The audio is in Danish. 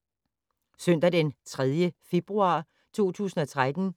Søndag d. 3. februar 2013